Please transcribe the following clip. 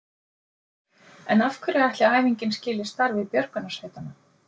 En hverju ætli æfingin skili starfi björgunarsveitanna?